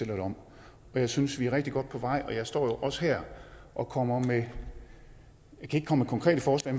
det om jeg synes vi er rigtig godt på vej og jeg står jo også her og kommer ikke med konkrete forslag